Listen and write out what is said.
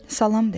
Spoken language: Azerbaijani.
Salam dedi.